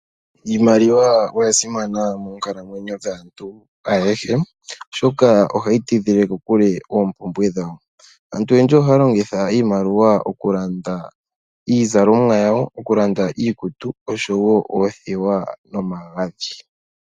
Iimaliwa oya simana monkalamwenyo dhaantu ayehe, oshoka ohayi tidhile kokule oompumbwe dhawo. Aantu oyendji oha ya longitha iimaliwa oku landa iizalomwa yawo, oku landa iikutu oshowo oothewa nomagadhi.